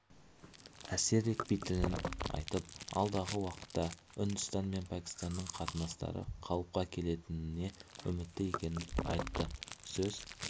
әсер етпейтінін айтып алдағы уақытта үндістан мен пәкістанның қатынастары қалыпқа келетініне үмітті екенін айтты сөз